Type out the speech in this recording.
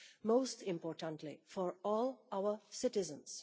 most importantly, for all our citizens.